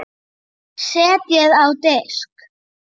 Setjið á disk.